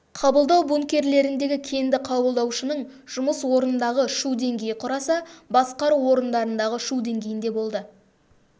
қабылдау бункерлеріндегі кенді қабылдаушының жұмыс орындағы шу деңгейі құраса басқару орындарындағы шу дейгейінде болды